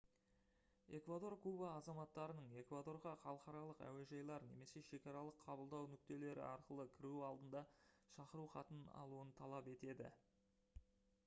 эквадор куба азаматтарының эквадорға халықаралық әуежайлар немесе шекаралық қабылдау нүктелері арқылы кіруі алдында шақыру хатын алуын талап етеді